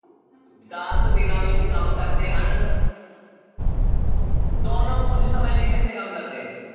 ਦਸ ਦਿਨਾਂ ਵਿੱਚ ਕੰਮ ਕਰਦੇ ਹਨ ਦੋਨੋਂ ਕੁੱਝ ਸਮੇਂ ਲਈ ਇਕੱਠੇ ਕੰਮ ਕਰਦੇ ਹੈ